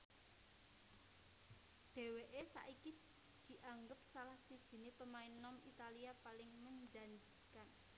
Dheweke saiki dianggep salah sijine pemain nom Italia paling menjanjikan